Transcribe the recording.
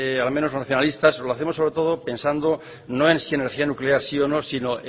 al menos los nacionalistas lo hacemos sobre todo pensando no es si energía nuclear sí o no sino